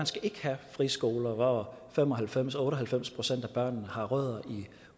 skal have friskoler hvor fem og halvfems til otte og halvfems procent af børnene har rødder i